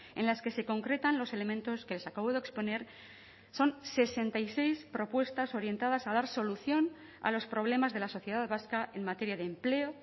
en las que se concretan los elementos que les acabo de exponer son sesenta y seis propuestas orientadas a dar solución a los problemas de la sociedad vasca en materia de empleo